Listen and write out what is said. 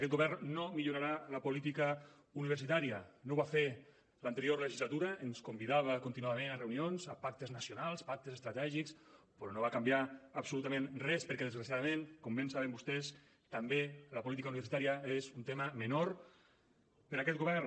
aquest govern no millorarà la política universitària no ho va fer a l’anterior legislatura ens convidava contínuament a reunions a pactes nacionals pactes estratègics però no va canviar absolutament res perquè desgraciadament com bé saben vostès també la política universitària és un tema menor per a aquest govern